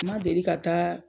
Ma deli ka taa